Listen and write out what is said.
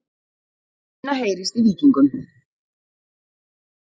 Minna heyrist í Víkingum